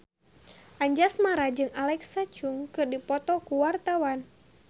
Anjasmara jeung Alexa Chung keur dipoto ku wartawan